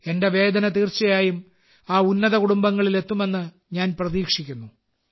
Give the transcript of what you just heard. എന്റെ വേദന തീർച്ചയായും ആ ഉന്നത കുടുംബങ്ങളിൽ എത്തുമെന്ന് ഞാൻ പ്രതീക്ഷിക്കുന്നു